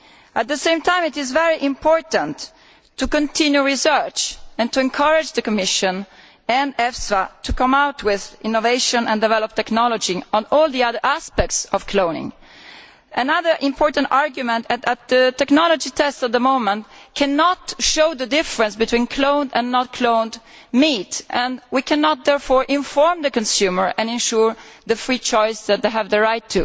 At the same time, it is very important to continue research and to encourage the Commission and EFSA to come up with innovation and develop technology on all the other aspects of cloning. Another important argument is that the technology tests at the moment cannot show the difference between cloned and non cloned meat, and we cannot therefore inform the consumer and ensure the free choice to which they have the right.